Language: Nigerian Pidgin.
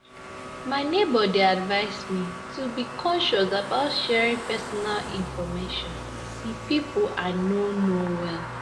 My neighbor dey advise me to be cautious about sharing personal information with those I no know well.